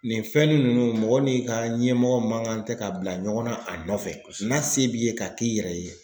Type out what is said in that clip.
Nin fɛn ninnu mɔgɔ n'i ka ɲɛmɔgɔ man kan tɛ ka bila ɲɔgɔnna a nɔfɛ n'a se b'i ye k'a k'i yɛrɛ ye.